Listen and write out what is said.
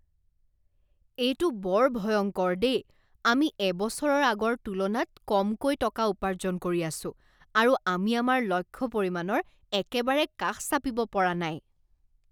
এইটো বৰ ভয়ংকৰ দেই! আমি এবছৰৰ আগৰ তুলনাত কমকৈ টকা উপাৰ্জন কৰি আছো আৰু আমি আমাৰ লক্ষ্য পৰিমাণৰ একেবাৰে কাষ চাপিব পৰা নাই।